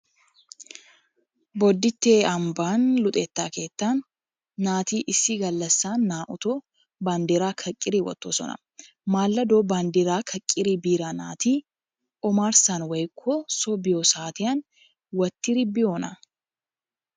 Boditte ambban luxetta keettan naati issi gallassan na'utto bandiraa kaqqidi wottossona. Maladdo bandraa kaqidda biida naatti omarssan woykko soo biyoo saattiyan wottidi biyoona?